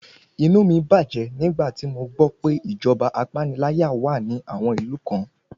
Inú mí bàjẹ́ nígbà tí mo gbọ́ pé ìjọba apániláyà wà ní àwọn ìlú kan.